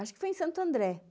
Acho que foi em Santo André.